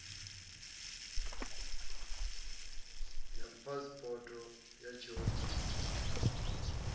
ya phasipoto ya tshiofisi na